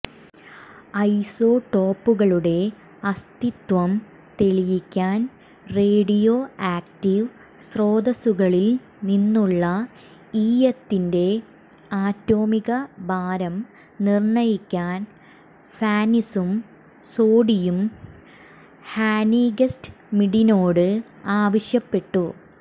ഐസോടോപ്പുകളുടെ അസ്തിത്വം തെളിയിക്കാൻ radio active സ്രോതസ്സുകളിൽ നിന്നുള്ള ഈയത്തിന്റെ ആറ്റോമിക ഭാരം നിർണ്ണയിക്കാൻ ഫാനിസും സോഡിയും ഹാനിഗ്സ്മിഡിനോട് ആവശ്യപ്പെട്ടു